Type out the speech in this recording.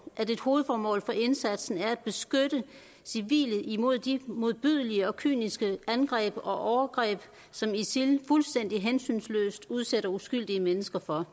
at et hovedformål for indsatsen er at beskytte civile imod de modbydelige og kyniske angreb og overgreb som isil fuldstændig hensynsløst udsætter uskyldige mennesker for